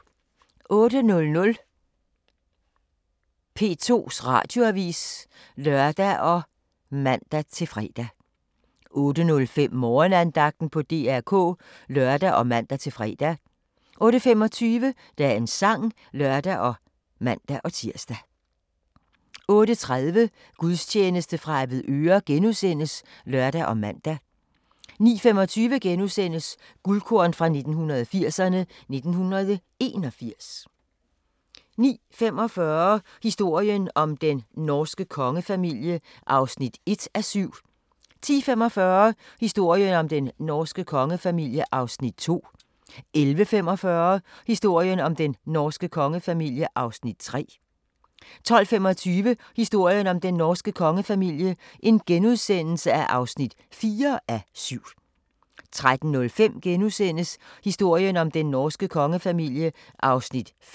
08:00: P2 Radioavis (lør og man-fre) 08:05: Morgenandagten på DR K (lør og man-fre) 08:25: Dagens sang (lør og man-tir) 08:30: Gudstjeneste fra Avedøre *(lør og man) 09:25: Guldkorn 1980'erne: 1981 * 09:45: Historien om den norske kongefamilie (1:7) 10:45: Historien om den norske kongefamilie (2:7) 11:45: Historien om den norske kongefamilie (3:7) 12:25: Historien om den norske kongefamilie (4:7)* 13:05: Historien om den norske kongefamilie (5:7)*